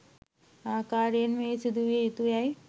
ආකාරයෙන්ම එය සිදු විය යුතු යැයි